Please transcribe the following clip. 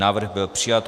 Návrh byl přijat.